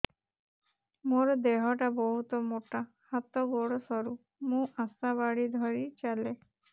ମୋର ଦେହ ଟା ବହୁତ ମୋଟା ହାତ ଗୋଡ଼ ସରୁ ମୁ ଆଶା ବାଡ଼ି ଧରି ଚାଲେ